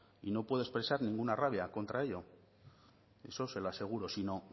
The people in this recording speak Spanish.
y no puede expresar ninguna rabia contra ello eso se lo aseguro sino